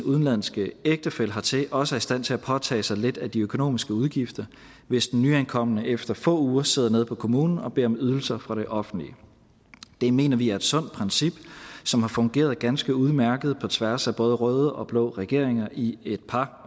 udenlandske ægtefælle hertil også er i stand til at påtage sig lidt af de økonomiske udgifter hvis den nyankomne efter få uger sidder nede på kommunen og beder om ydelser fra det offentlige det mener vi er et sundt princip som har fungeret ganske udmærket på tværs af både røde og blå regeringer i et par